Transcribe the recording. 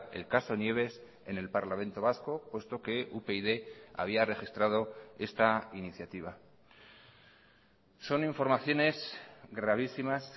el caso nieves en el parlamento vasco puesto que upyd había registrado esta iniciativa son informaciones gravísimas